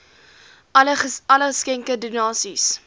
alle geskenke donasies